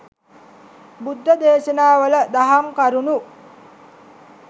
බුද්ධ දේශනාවල දහම් කරුණු